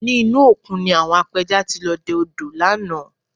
Ní inú òkun ni àwọn apẹja ti lọ dẹ odò lánàá